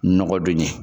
Nɔgɔ don ɲɛ